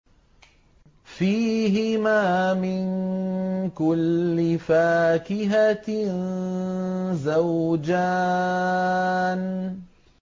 فِيهِمَا مِن كُلِّ فَاكِهَةٍ زَوْجَانِ